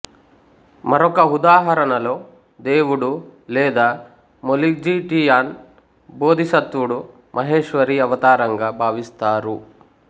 మరొక ఉదాహరణలో దేవుడు లేదా మోలిఝీటియాన్ బోధిసత్వుడు మహేశ్వరి అవతారంగా భావిస్తారు